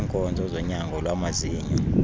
ngeenkonzo zonyango lwamazinyo